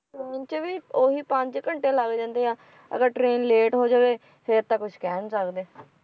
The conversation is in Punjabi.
ਅਹ ਕਿਵੇਂ ਉਹੀ ਪੰਜ ਘੰਟੇ ਲੱਗ ਜਾਂਦੇ ਆ ਅਗਰ train ਲੇਟ ਹੋ ਜਾਵੇ ਫੇਰ ਤਾਂ ਕੁਛ ਕਹਿ ਨੀ ਸਕਦੇ।